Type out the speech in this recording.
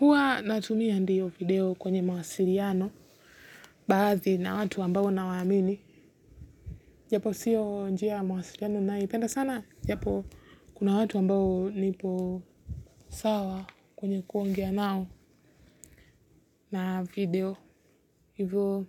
Huwa natumia ndio video kwenye mawasiliano baadhi na watu ambao na waamini japo sio njia ya mawasiliano naipenda sana japo kuna watu ambao nipo sawa kwenye kuongea nao na video hivyo